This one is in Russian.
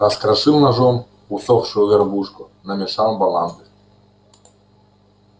раскрошил ножом усохшую горбушку намешал баланды